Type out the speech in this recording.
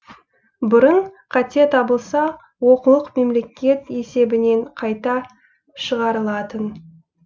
бұрын қате табылса оқулық мемлекет есебінен қайта шығарылатын